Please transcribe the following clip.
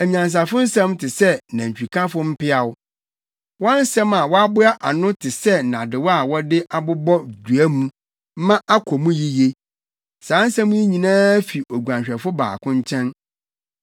Anyansafo nsɛm te sɛ nantwikafo mpeaw. Wɔn nsɛm a wɔaboa ano te sɛ nnadewa a wɔde abobɔ dua mu ma akɔ mu yiye. Saa nsɛm yi nyinaa fi Oguanhwɛfo baako nkyɛn.